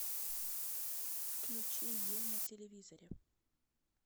включи е на телевизоре